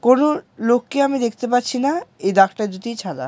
কোন লোককে আমি দেখতে পাচ্ছি না এই ডাক্তার দুটি ছাড়া।